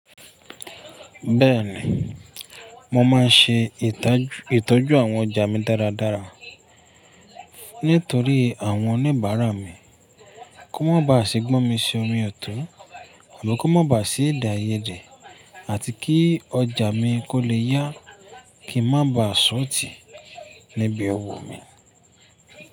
Bẹ́ẹ̀ni, mo máa n ṣe itoju ìtọ́jú àwọn ọjà mi dáradára nítorí àwọn oníbàárà mi kó má bá à ṣi gbọ́n mi sí omi ò tọ̀ àbí kó má bá à ṣi èdè aiyédè àti kí ọjà mi kó lè yá kí ń má bá à ṣọ̀otì níbi ọwọ́ mi.